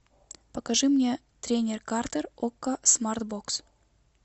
покажи мне тренер картер окко смартбокс